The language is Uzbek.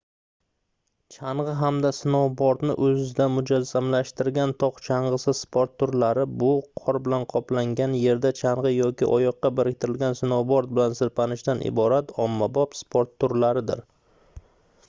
changʻi hamda snoubordni oʻzida mujassamlashtirgan togʻ changʻisi sport turlari bu qor bilan qoplangan yerda changʻi yoki oyoqqa biriktirilgan snoubord bilan sirpanishdan iborat ommabop sport turlaridir